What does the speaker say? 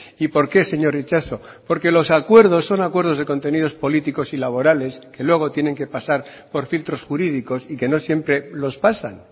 y por qué señor itxaso porque los acuerdos son acuerdos de contenidos políticos y laborales que luego tienen que pasar por filtros jurídicos y que no siempre los pasan